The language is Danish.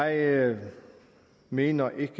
jeg mener ikke